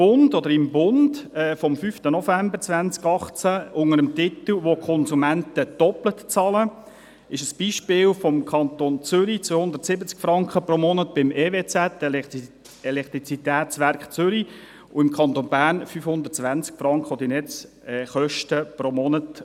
Im «Der Bund» vom 5. November 2018, ist unter dem Titel «Wo Konsumenten doppelt bezahlen» das Beispiel des Kantons Zürich aufgeführt, wonach die Netze des Elektrizitätswerk Kanton Zürich (EWZ) 270 Franken pro Monat verursachen und im Kanton Bern Kosten von 520 Franken pro Monat.